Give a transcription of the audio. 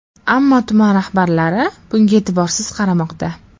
Ammo tuman rahbarlari bunga e’tiborsiz qaramoqda.